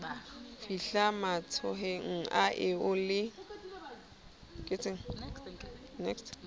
fihle matsohong a eo le